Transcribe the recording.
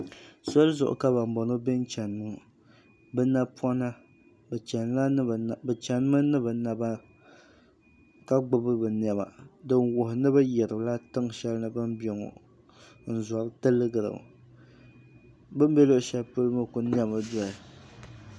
Soli zuɣu ka ban boŋɔ be n chena ŋɔ bɛ chenimi ni bɛ naba ka gbibi bɛ niɛma din wuhi ni bɛ yirila tiŋsheli bini be ŋɔ n zori tiligira bini be luɣu sheli ŋɔ kuli niɛmi doya.